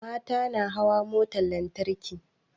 Mata na hawa motar lantarki